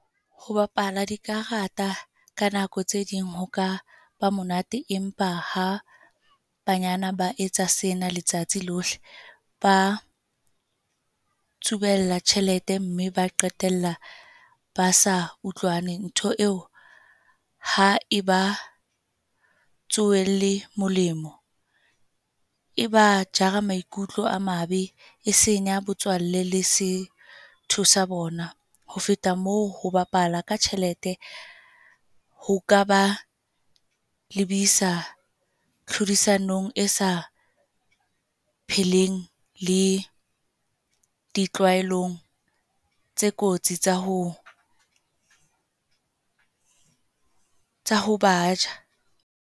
Ho bapala dikarata, ka nako tse ding hoka ba monate. Empa ha banyana ba etsa sena letsatsi lohle. Ba tsubella tjhelete, mme ba qetella ba sa utlwane. Ntho eo ha eba tsoelle molemo. E ba jara maikutlo a mabe. E senya botswalle le setho sa bona. Ho feta moo, ho bapala ka tjhelete ho ka ba lebisa tlhodisanong e sa pheleng le ditlwaelong tse kotsi tsa ho, tsa ho ba ja.